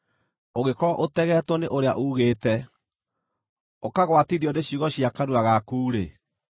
ũngĩkorwo ũtegeetwo nĩ ũrĩa uugĩte, ũkagwatithio nĩ ciugo cia kanua gaku-rĩ,